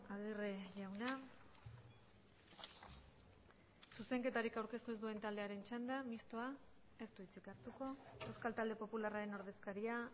agirre jauna zuzenketarik aurkeztu ez duen taldearen txanda mistoa ez du hitzik hartuko euskal talde popularraren ordezkaria